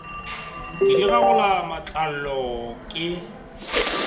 ke di gagola matlalo ke